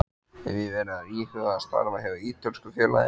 Hef ég verið að íhuga að starfa hjá ítölsku félagi?